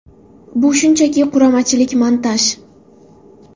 Bu shunchaki quramachilik, montaj.